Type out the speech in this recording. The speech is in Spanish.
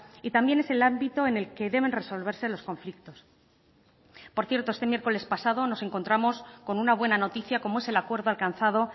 y también es el ámbito en el que deben resolverse los conflictos por cierto este miércoles pasado nos encontramos con una buena noticia como es el acuerdo alcanzado